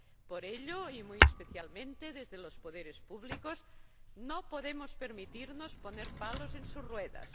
Por ello, y muy especialmente desde los poderes públicos, no podemos permitirnos poner palos en sus ruedas.